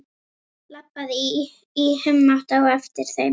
Labbaði í humátt á eftir þeim.